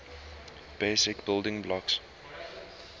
basic building blocks